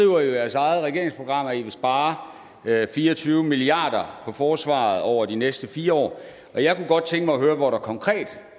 jo i jeres eget regeringsprogram at i vil spare fire og tyve milliard kroner på forsvaret over de næste fire år jeg kunne godt tænke mig at høre hvor der konkret